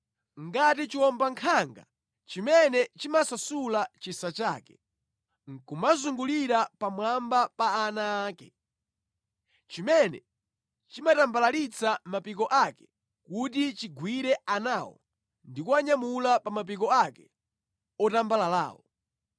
ngati chiwombankhanga chimene chimasasula chisa chake nʼkumazungulira pamwamba pa ana ake, chimene chimatambalalitsa mapiko ake kuti chigwire anawo ndi kuwanyamula pa mapiko ake otambalalawo.